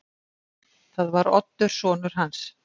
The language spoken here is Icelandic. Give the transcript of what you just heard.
Það var Oddur sonur hans.